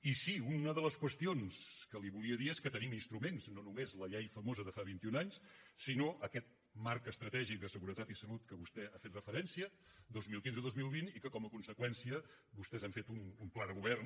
i sí una de els qüestions que li volia dir és que tenim instruments no només la llei famosa de fa vint i un anys sinó aquest marc estratègic de seguretat i salut a què vostè ha fet referència dos mil quinze dos mil vint i que com a conseqüència vostès han fet un pla de govern